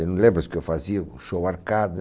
Você não lembra que eu fazia, o show arcada.